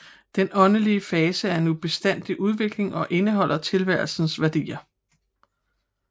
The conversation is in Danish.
Den åndelige fase er i bestandig udvikling og indeholder tilværelsens værdier